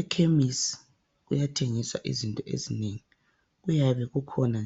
Ekhemesi kuyathengiswa izinto ezinengi, kuyabe kukhona